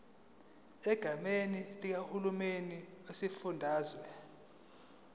egameni likahulumeni wesifundazwe